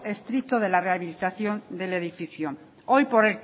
estricto de la rehabilitación del edificio hoy por